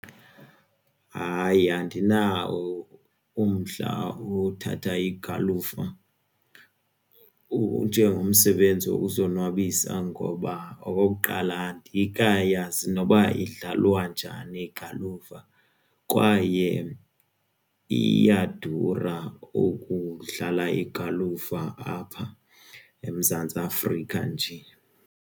Hayi, andinawo umdla wothatha igalufa njengomsebenzi wokuzonwabisa ngoba okokuqala andikayazi noba okokuqala idlalwa njani igalufa kwaye iyadura ukudlala igalufa apha eMzantsi Afrika nje.